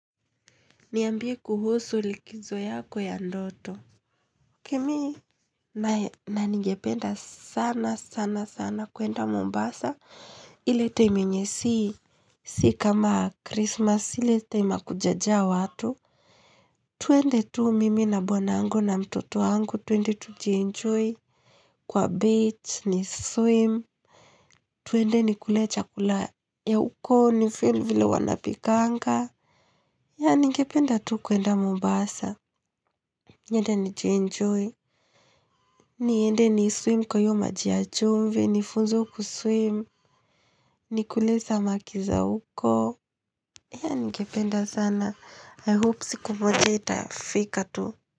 Niambie kuhusu likizo yako ya ndoto. Ok mimi nanigependa sana sana sana kuenda Mombasa. Ile time yenye si. Si kama Christmas ili time hakujajaa watu. Twende tu mimi na bwana angu na mtoto wangu twende tujienjoy. Kwa beach ni swim. Twende ni kulecha kula ya huko ni feel vile wanapikanga. Ya ningependa tuu kwenda Mombasa. Niende ni jenjoy. Niende ni swim kwa hiyo maji yachumvi. Nifunzwe kuswim. Nikule samakiza huko. Haya ningependa sana. I hope siku moja itafika tu.